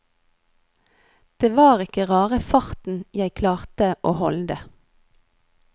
Det var ikke rare farten jeg klarte å holde.